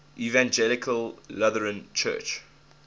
evangelical lutheran church